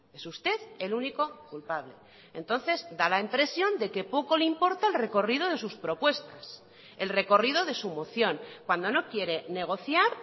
es usted el único culpable entonces da la impresión de que poco le importa el recorrido de sus propuestas el recorrido de su moción cuando no quiere negociar